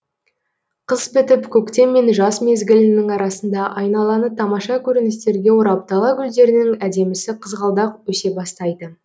қыс бітіп көктем мен жаз мезгілінің арасында айналаны тамаша көріністерге орап дала гүлдерінің әдемісі қызғалдақ өсе бастайды